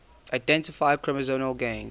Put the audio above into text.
identify chromosomal gains